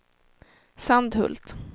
Sandhult